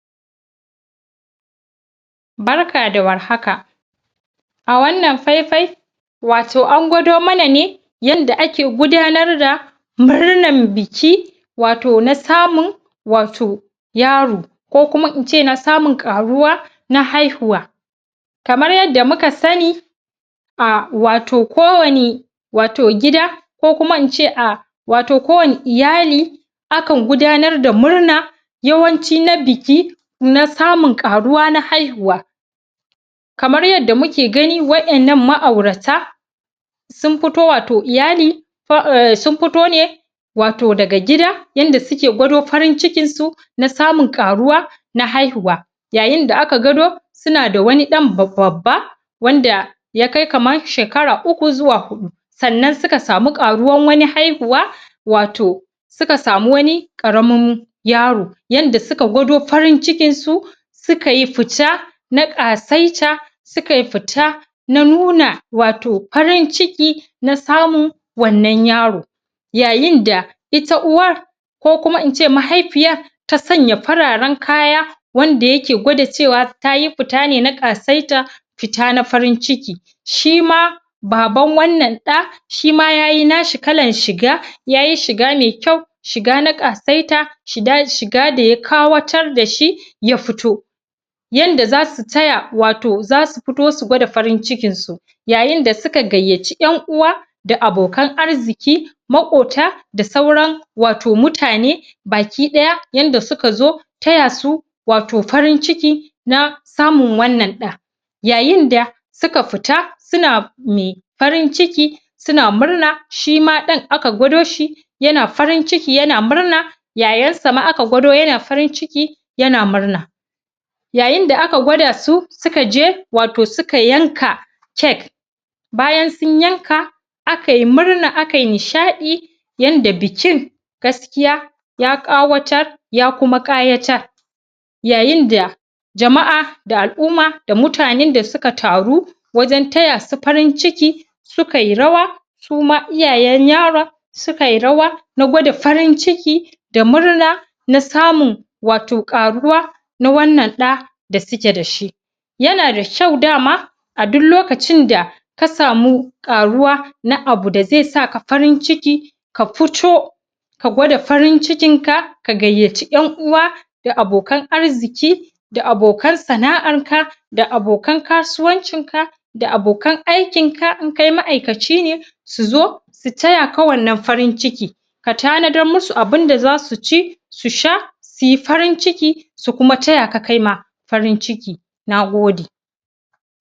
Barka da warhaka! a wannan faifai wato an gwado mana ne yanda ake gudanar da murnan biki wato na samun wato yaro ko kuma ince na samun ƙaruwa na haihuwa kamar yanda muka sanni ah! wato ko wani wato gida ko kuma ince a wato ko wani iyali akan gudanar da murna yawanci na biki na samun ƙaruwa na haihuwa kamar yanda muke gani wa'innan ma'aurata sun futo wato iyali um sun fito ne wato daga gida yanda suke gwado farin cikinsu na samu ƙaruwa na haihuwa yayin da aka gado suna da wani ɗan bab.. babba wanda ya kai kaman shekara uku zuwa huɗu sannan suka sami ƙaruwan wani haihuwa wato suka samu wani ƙaramin yaro yanda suka gwado farin cikin su suka yi futa na ƙasaita su kai futa na nuna wato farin ciki na samun wannan yaro yayin da ita uwar ko kuma ince mahaifiyar ta sanya fararen kaya wanda yake gwada cewa tayi futa ne na ƙasaita fita na farin ciki shi ma Baban wannan ɗa shima yayi nashi kalan shiga yayi shiga mai kyau shiga na ƙasaita shi da shiga da ya kawatar dashi ya futo yanda zasu taya wato zasu futo su gwada farin cikin su yayin da suka gayyaci ƴan uwa da abokan arziki maƙota da sauran wato mutane baki ɗaya yanda suka zo taya su wato farin ciki na samun wannan ɗa yayin da suka futa suna mai farin ciki suna murna shima ɗan aka gwado shi yana farin ciki yana murna yayan sa ma aka gwado yana farin ciki yana murna yayin da aka gwada su suka je wato suka yanka cake bayan sun yanka akai murna akai nishaɗi yanda bikin gaskiya ya ƙawatar ya kuma ƙayatar yayin da jama'a da al'umma da mutanen da suka taru wajen taya su farin ciki sukai rawa suma iyayen yaron sukai rawa na gwada farin ciki da murna na samun wato ƙaruwa na wannan ɗa da suke dashi yana da kyau dama a dun lokacin da ka samu ƙaruwa na abu da zai saka farin ciki ka futo ka gwada farin cikin ka ka gayyaci ƴan uwa da abokan arziki da abokan sana'ar ka da abokan kasuwancin ka da abokan aikin ka in kai ma'aikaci ne su zo su taya ka wannan farin ciki ka tanadar musu abunda zaka ci su sha suyi farin ciki su kuma taya ka kaima farin ciki Nagode!